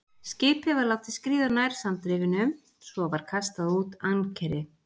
Skipið var látið skríða nær sandrifinu, svo var kastað út ankeri.